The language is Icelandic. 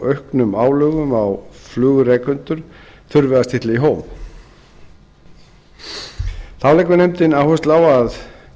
auknum álögum á flugrekendur þurfi að stilla í hóf þá leggur nefndin áherslu á að